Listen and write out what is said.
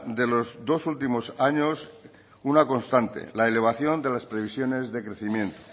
de los dos últimos años una contaste la elevación de las previsiones de crecimiento